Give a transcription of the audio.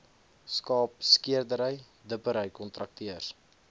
skaapskeerdery dippery kontrakteurs